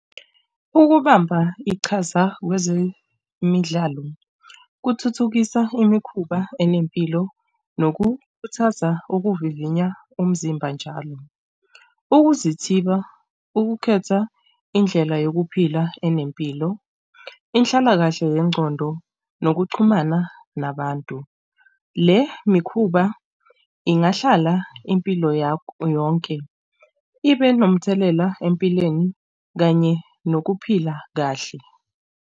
Ukubamba iqhaza kwezemidlalo kuthuthukisa imikhuba enempilo nokukhuthaza ukuvivinya umzimba njalo ukuzithiba, ukukhetha indlela yokuphila enempilo, inhlalakahle yengqondo nokuxhumana nabantu. Le mikhuba ingahlala impilo yakho yonke ibe nomthelela empilweni kanye nokuphila kahle.